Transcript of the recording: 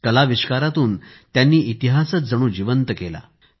कलाविष्कारातून त्यांनी इतिहासच जिवंत केला